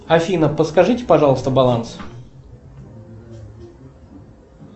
афина подскажите пожалуйста баланс